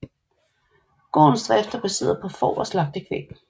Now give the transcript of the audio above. Gårdens drift er baseret på får og slagtekvæg